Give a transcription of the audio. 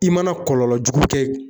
I mana kɔlɔlɔ jugu kɛ